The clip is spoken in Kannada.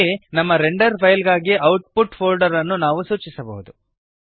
ಇಲ್ಲಿ ನಮ್ಮ ರೆಂಡರ್ ಫೈಲ್ ಗಳಿಗಾಗಿ ಔಟ್ಪುಟ್ ಫೋಲ್ಡರ್ ಅನ್ನು ನಾವು ಸೂಚಿಸಬಹುದು